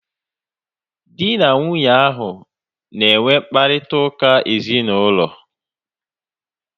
Dị na nwunye ahu na enwe mkparịta ụka ezinaụlọ